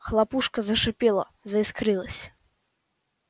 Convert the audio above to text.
хлопушка зашипела заискрилась